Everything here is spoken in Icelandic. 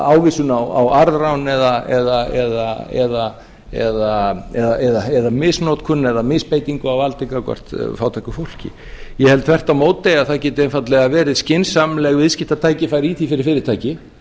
ávísun á arðrán eða misnotkun eða misbeitingu á valdi gagnvart fátæku fólki ég held þvert á móti að það geti einfaldlega verið skynsamleg viðskiptatækifæri í því fyrir fyrirtæki